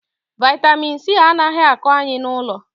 vitamin c anaghị ako Anyị n'ụlọ